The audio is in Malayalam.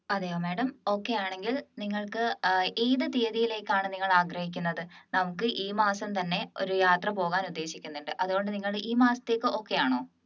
അതെയോ madam okay ആണെങ്കിൽ നിങ്ങൾക്ക് ഏർ ഏത് തീയതിയിലേക്ക് ആണ് നിങ്ങൾ ആഗ്രഹിക്കുന്നത് നമുക്ക് ഈ മാസം തന്നെ ഒരു യാത്ര പോകാൻ ഉദ്ദേശിക്കുന്നുണ്ട് അതുകൊണ്ട് നിങ്ങൾ ഈ മാസത്തേക്ക് okay യാണോ